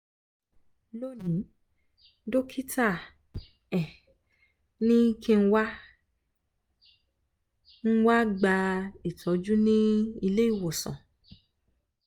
lónìí dọ́kítà um ní kí n wá n wá gba ìtọ́jú ní ilé ìwòsàn